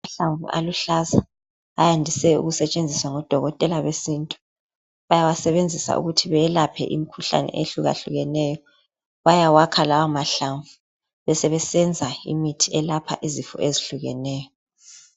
Amahlamvu aluhlaza, ayandise ukusetshenziswa ngodokotela besintu, bayawasebenzisa ukuthi beyelaphe imkhuhlane ehluyahlukeneyo. Bayawakha lawa mahlamvu, besebesenza imithi elapha izifo ezihlukeneyo.